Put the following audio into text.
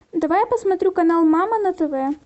давай я посмотрю канал мама на тв